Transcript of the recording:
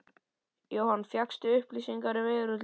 Jóhann: Fékkstu upplýsingar um veðurútlitið?